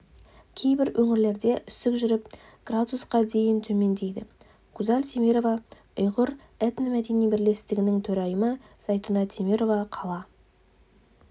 кейбір өңірлерде үсік жүріп градусқа дейін төмендейді гузаль темирова ұйғыр этно-мәдени бірлестігінің төрайымы зәйтуна темирова қала